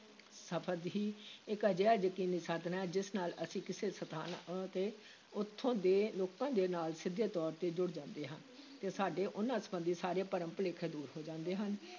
ਸਫ਼ਰ ਹੀ ਇਕ ਅਜਿਹਾ ਯਕੀਨੀ ਸਾਧਨ ਹੈ, ਜਿਸ ਨਾਲ ਅਸੀਂ ਕਿਸੇ ਸਥਾਨ ਅਤੇ ਉੱਥੋਂ ਦੇ ਲੋਕਾਂ ਦੇ ਨਾਲ ਸਿੱਧੇ ਤੌਰ ‘ਤੇ ਜੁੜ ਜਾਂਦੇ ਹਾਂ ਤੇ ਸਾਡੇ ਉਨ੍ਹਾਂ ਸੰਬੰਧੀ ਸਾਰੇ ਭਰਮ ਭੁਲੇਖੇ ਦੂਰ ਹੋ ਜਾਂਦੇ ਹਨ।